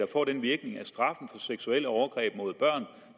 får den virkning at straffen for seksuelle overgreb mod børn